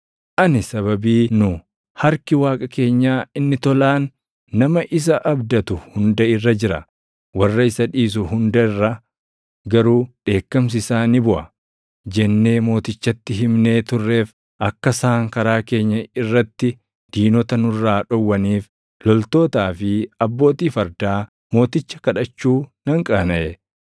Ani sababii nu, “Harki Waaqa keenyaa inni tolaan nama isa abdatu hunda irra jira; warra isa dhiisu hunda irra garuu dheekkamsi isaa ni buʼa” jennee mootichatti himnee turreef akka isaan karaa keenya irratti diinota nurraa dhowwaniif loltootaa fi abbootii fardaa mooticha kadhachuu nan qaanaʼe.